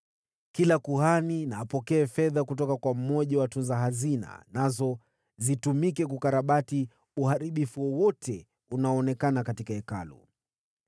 Kila kuhani na apokee fedha kutoka kwa mmoja wa watunza hazina, nazo zitumike kukarabati uharibifu wowote unaoonekana katika Hekalu.”